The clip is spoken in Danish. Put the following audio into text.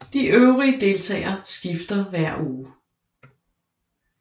De øvrige deltagere skifter hver uge